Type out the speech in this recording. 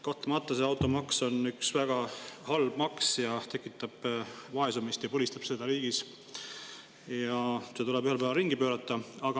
Kahtlemata on automaks üks väga halb maks, tekitab vaesumist ja põlistab seda riigis ja see tuleb ühel päeval ringi pöörata.